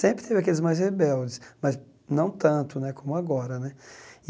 Sempre teve aqueles mais rebeldes, mas não tanto né como agora né.